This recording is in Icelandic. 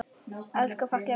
Elsku fallega vinkona mín.